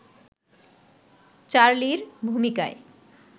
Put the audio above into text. চার্লির ভূমিকায়